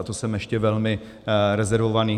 A to jsem ještě velmi rezervovaný.